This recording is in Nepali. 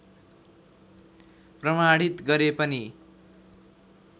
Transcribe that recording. प्रमाणित गरे पनि